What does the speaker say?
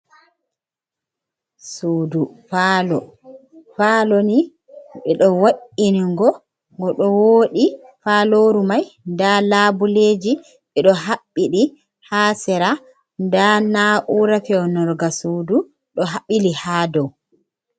Sudu falo ni ɓe ɗo waingo ngo ɗo woodie faloru mai nda labuleji ɓe ɗo haɓɓiɗi ha sera, nda naura feunurga sudu ɗo bbili ha dou.